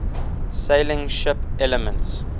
sailing ship elements